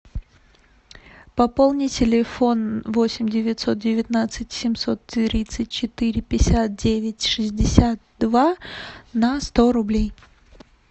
пополни телефон восемь девятьсот девятнадцать семьсот тридцать четыре пятьдесят девять шестьдесят два на сто рублей